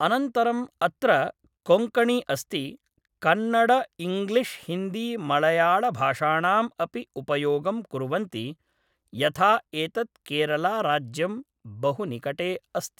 अनन्तरम् अत्र कोङ्कणि अस्ति कन्नडइङ्ग्लिश्हिन्दीमळयाळभाषाणाम् अपि उपयोगं कुर्वन्ति यथा एतत् केरला राज्यं बहु निकटे अस्ति